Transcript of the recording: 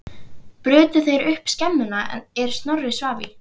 Brutu þeir upp skemmuna er Snorri svaf í.